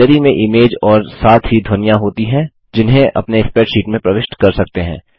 Galleryमें image और साथ ही ध्वनियाँ होती हैं जिन्हें अपने स्प्रैडशीट में प्रविष्ट कर सकते हैं